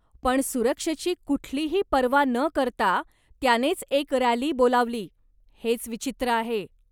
पण, सुरक्षेची कुठलीही पर्वा न करता त्यानेच एक रॅली बोलावली, हेच विचित्र आहे.